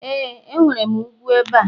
e, enwere ugwu ebe a